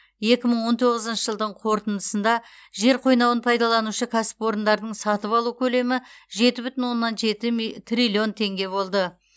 екі мың он тоғызыншы жылдың қорытындысында жер қойнауын пайдаланушы кәсіпорындардың сатып алу көлемі жеті бүтін оннан жеті триллион теңге болды